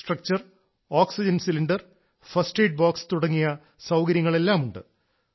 structure oxygen cylinder first aid box തുടങ്ങിയ സൌകര്യങ്ങളെല്ലാമുണ്ട്